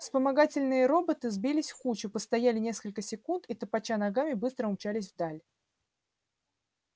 вспомогательные роботы сбились в кучу постояли несколько секунд и топоча ногами быстро умчались вдаль